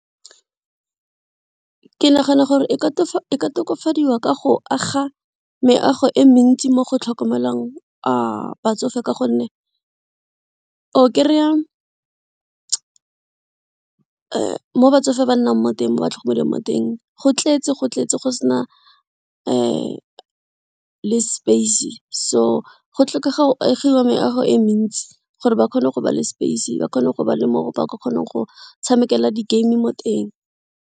Ke nagana gore e ka tokafadiwa ka go aga meago e mentsi mo go tlhokomelwang batsofe ka gonne o kry-a mo batsofe ba nnang mo teng mo ba tlhokomelwang mo teng go tletse go sena le space so go tlhokega agiwa meago e mentsi gore ba kgone go ba le space ba kgone go ba le mo ba ka kgonang go tshamekela di game mo teng.